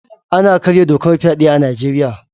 Ana karya dokar fyaɗe a Nijeriya